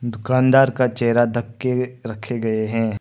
दुकानदार का चेहरा धक के रखे गए हैं।